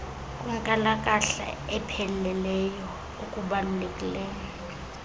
kwenkalakahla epheleleyo okubalulekileyo